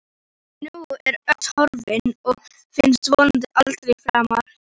En nú er öxin horfin og finnst vonandi aldrei framar.